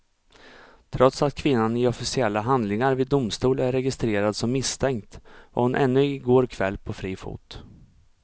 Trots att kvinnan i officiella handlingar vid domstol är registrerad som misstänkt var hon ännu i går kväll på fri fot.